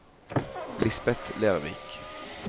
Lisbeth Lervik